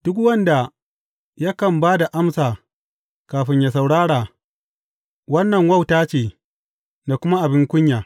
Duk wanda yakan ba da amsa kafin ya saurara, wannan wauta ce da kuma abin kunya.